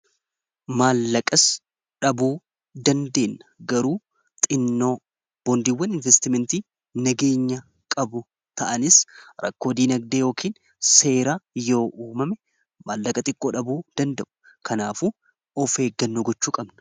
Maallaqas dhabuu dandeen garuu xinnoo boondiiwwan investimentii nageenya qabu ta'anis rakkoodiinagdee yookiin seera yoo uumame maallaqa xiqqoo dhabu danda'u kanaaf of eggannoo gochuu qabna.